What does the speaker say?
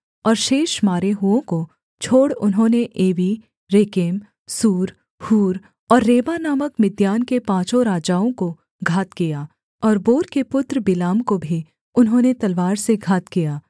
और शेष मारे हुओं को छोड़ उन्होंने एवी रेकेम सूर हूर और रेबा नामक मिद्यान के पाँचों राजाओं को घात किया और बोर के पुत्र बिलाम को भी उन्होंने तलवार से घात किया